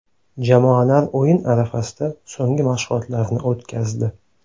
Jamoalar o‘yin arafasida so‘nggi mashg‘ulotlarni o‘tkazdi.